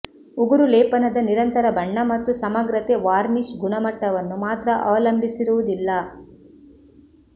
ಉಗುರು ಲೇಪನದ ನಿರಂತರ ಬಣ್ಣ ಮತ್ತು ಸಮಗ್ರತೆ ವಾರ್ನಿಷ್ ಗುಣಮಟ್ಟವನ್ನು ಮಾತ್ರ ಅವಲಂಬಿಸಿರುವುದಿಲ್ಲ